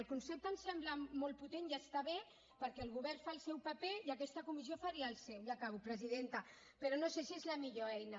el concepte em sembla molt potent i està bé perquè el govern fa el seu paper i aquesta comissió faria el seu ja acabo presidenta però no sé si és la millor eina